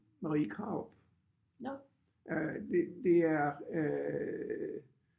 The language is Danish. Marie Krarup øh det det er øh